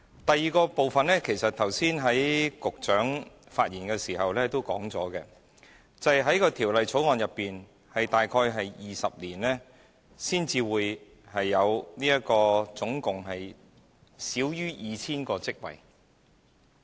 第二，局長剛才發言時亦曾指出，根據《條例草案》，大約需時20年才可提供合共少於 2,000 個職位。